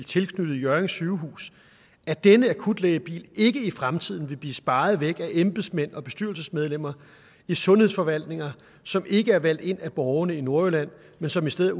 tilknyttet hjørring sygehus at denne akutlægebil ikke i fremtiden vil blive sparet væk af embedsmænd og bestyrelsesmedlemmer i sundhedsforvaltninger som ikke er valgt ind af borgerne i nordjylland men som i stedet